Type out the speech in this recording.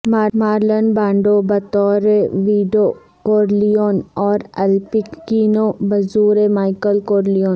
Marlene Brando بطور Vito Corleone اور Al Pacino بظور مائیکل کورلیون